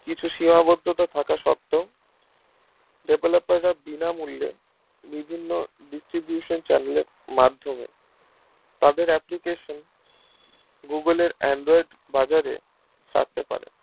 কিছু সীমাবদ্ধতা থাকা সত্ত্বেও developer রা বিনা মূল্যে বিভিন্ন distribution channel এর মাধ্যমে তাদের application google এর android বাজারে ছাড়তে পারে